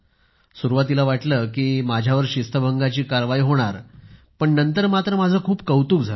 तर सुरुवातीला तर वाटलं होतं कि माझ्यावर शिस्तभंगाची कारवाई होईल पण नंतर मात्र माझे खूप कौतुक झाले